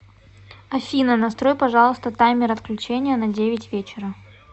афина настрой пожалуйста таймер отключения на девять вечера